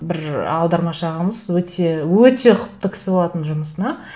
бір аудармашы ағамыз өте өте ұқыпты кісі болатын жұмысына